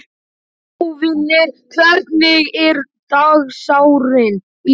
Sváfnir, hvernig er dagskráin í dag?